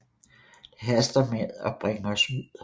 Det haster med at bringe os ud